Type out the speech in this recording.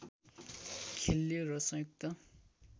खेल्यो र संयुक्त